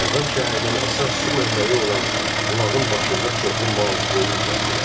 Dərbənd şəhərinin əsas su mənbəyi olan bulağın başında çoxlu mal, qoyun kəsdilər.